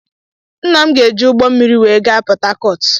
Nna m ga-eji ụgbọ mmiri wee gaa Pọtakọt.